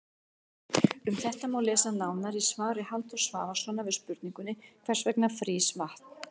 Um þetta má lesa nánar í svari Halldórs Svavarssonar við spurningunni Hvers vegna frýs vatn?